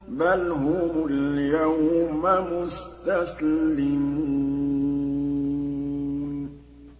بَلْ هُمُ الْيَوْمَ مُسْتَسْلِمُونَ